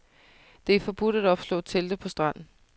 Det er forbudt at opslå telte på stranden.